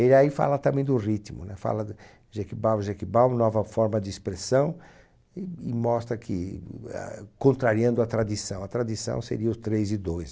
Ele aí fala também do ritmo, né? Fala do Jequibau é Jequibau, nova forma de expressão, e e mostra que, eh, contrariando a tradição, a tradição seria os três e dois.